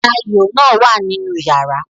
Ayo náà wà ní inú yàrá